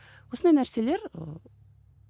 осындай нәрселер ыыы